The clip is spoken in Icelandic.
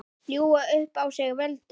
Ljúga upp á sig völdum?